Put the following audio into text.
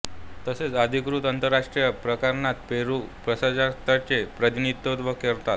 तसेच अधिकृत आंतरराष्ट्रीय प्रकरणात पेरू प्रजासत्ताकाचे प्रतिनिधित्व करतात